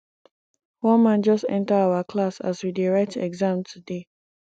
one man just enter our class as we dey write exam today